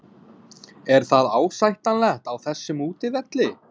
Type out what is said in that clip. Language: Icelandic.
Er það ásættanlegt á þessum útivelli?